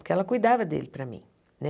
Porque ela cuidava dele para mim, né?